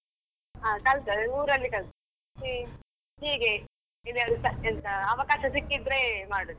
ಹಾ ಕಲ್ತದ್ದು ಊರಲ್ಲಿ ಕಲ್ತದ್ದು, ಹೀ~ ಹೀಗೆ ಅವಕಾಶ ಸಿಕ್ಕಿದ್ರೆ ಮಾಡುದು.